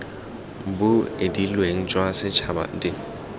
bo edileng jwa setšhaba d